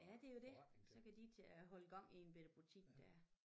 Ja det jo det så kan de tage og holde gang i en bette butik der